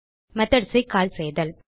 method ஐ கால் செய்தல்